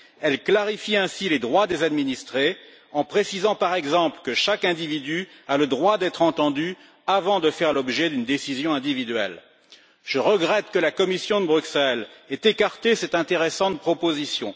Elle clarifie ainsi les droits des administrés, en précisant par exemple que chaque individu a le droit d'être entendu avant de faire l'objet d'une décision individuelle. Je regrette que la Commission de Bruxelles ait écarté cette intéressante proposition